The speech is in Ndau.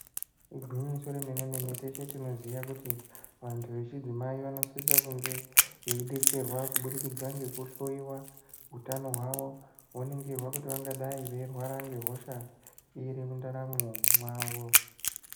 Igwinyiso remene mene teshe tinoziya kuti vantu vechidzimai vanosise kunge veidetserwa kubudikidza nekuhloiwa utano hwavo, voningirwa kuti vangadai veirwara nehosha iri mundaramwo mavo.